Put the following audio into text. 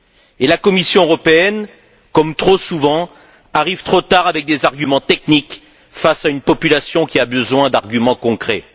Et la Commission européenne, comme trop souvent, arrive trop tard avec des arguments techniques face à une population qui a besoin d'arguments concrets.